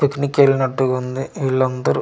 Picnic వెళ్ళినటు ఉంది వీలందారు .]